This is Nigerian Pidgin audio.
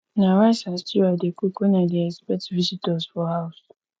na rice and stew i dey cook when i dey expect visitors for house